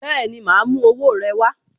Bẹẹni, ma a mú owó rẹ wá